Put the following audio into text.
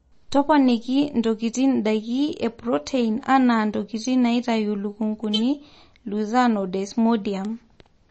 toponikintokitin ndaiki e protein anaa ntokitin naitayu lukunkuni, lucern o desmodium